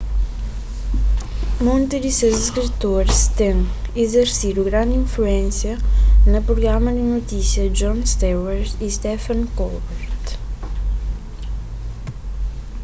monti di ses skritoris ten izersidu grandi influénsia na prugramas di notisia di jon stewart y stephen colbert